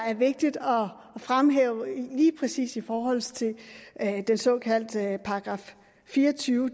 er vigtigt at fremhæve lige præcis i forhold til den såkaldte § fire og tyve